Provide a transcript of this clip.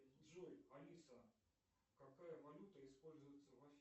джой алиса какая валюта используется в афинах